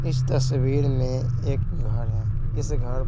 इस तस्वीर में एक घर है इस घर--